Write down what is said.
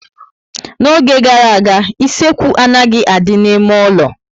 N'oge gara aga, isekwu anaghị adị n'ime ụlọ